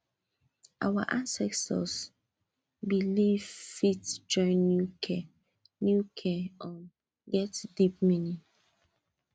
our ancestors beliefs fit join new care new care um get deep meaning